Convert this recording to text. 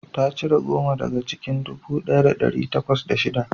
Ta cire goma daga cikin dubu ɗaya da ɗari bakwai da shida